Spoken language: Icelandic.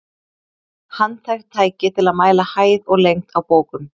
Handhægt tæki til að mæla hæð og lengd á bókum.